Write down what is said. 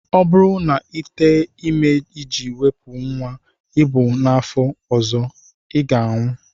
Ọ bụrụ na Ị tee ime iji wepụ nnwa ị bu n'afọ ọzọ, I ga-anwụ!